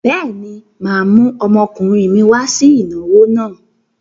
Bẹ́ẹ̀ni, mà á mú ọmọkùnrin mi wá sí ìnáwó náà.